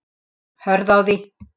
Hörð á því.